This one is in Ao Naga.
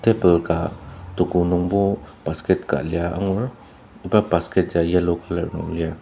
table ka toko nungbo basket ka lia angur iba basket ya yellow colour nung lir.